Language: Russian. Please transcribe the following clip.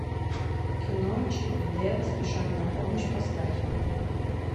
кино чип и дейл спешат на помощь поставь